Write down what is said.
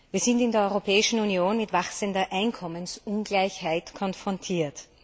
Wir sind in der Europäischen Union mit wachsender Einkommensungleichheit konfrontiert.